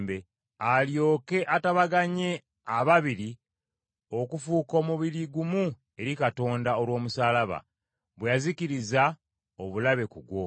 alyoke atabaganye ababiri okufuuka omubiri gumu eri Katonda olw’omusaalaba, bwe yazikiririza obulabe ku gwo.